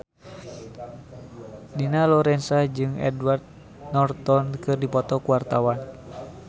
Dina Lorenza jeung Edward Norton keur dipoto ku wartawan